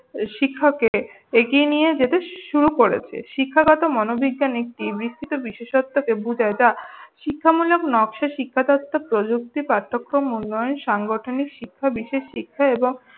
শিক্ষাকে এগিয়ে নিয়ে যেতে শুরু করেছে। শিক্ষাগত মনোবিজ্ঞানী একটি বিস্তৃত বিশেষত্বকে বুঝায় যা শিখামূলক নকশা শিক্ষাদিত্ত প্রযুক্তি পার্থক্য মূল্যায়ন সাংগঠনিক শিক্ষা বিশেষ শিক্ষা এবং